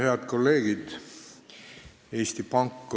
Head kolleegid!